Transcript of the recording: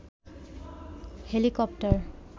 helicopter